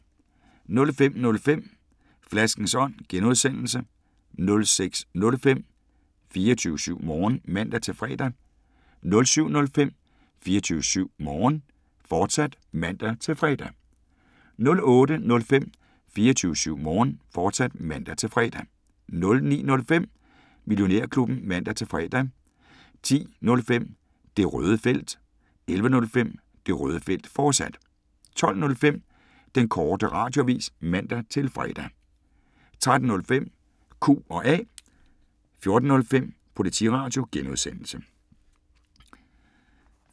05:05: Flaskens Ånd (G) 06:05: 24syv Morgen (man-fre) 07:05: 24syv Morgen, fortsat (man-fre) 08:05: 24syv Morgen, fortsat (man-fre) 09:05: Millionærklubben (man-fre) 10:05: Det Røde Felt 11:05: Det Røde Felt, fortsat 12:05: Den Korte Radioavis (man-fre) 13:05: Q&A 14:05: Politiradio (G)